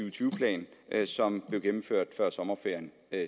og tyve plan som blev gennemført før sommerferien